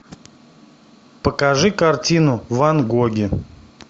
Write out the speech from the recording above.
покажи картину ван гоги